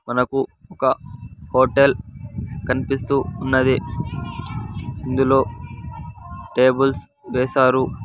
మనకు ఒక హోటెల్ కనిపిస్తూ ఉన్నది ఇందులో టేబుల్స్ వేశారు.